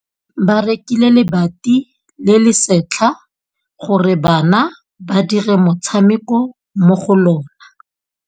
Ba rekile lebati le le setlha gore bana ba dire motshameko mo go lona.